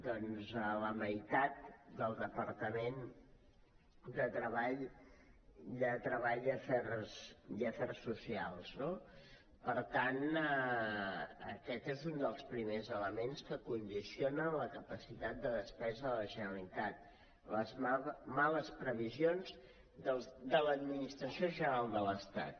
doncs la meitat del departament de treball i afers socials no per tant aquest és un dels primers elements que condicionen la capacitat de despesa de la generalitat les males previsions de l’administració general de l’estat